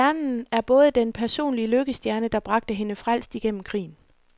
Stjernen er både den personlige lykkestjerne, der bragte hende frelst igennem krigen.